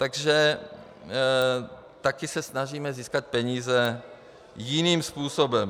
Takže taky se snažíme získat peníze jiným způsobem.